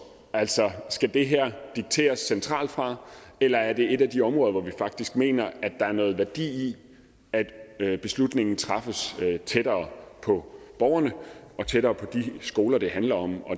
altså skal det her dikteres centralt fra eller er det et af de områder hvor vi faktisk mener at der er noget værdi i at beslutningen træffes tættere på borgerne og tættere på de skoler det handler om